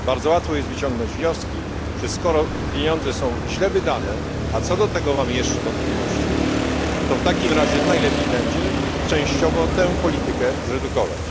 Bardzo łatwo jest wyciągnąć wnioski, że skoro pieniądze są źle wydane, a co do tego mamy jeszcze wątpliwości, to w takim razie najlepiej będzie częściowo tę politykę zredukować.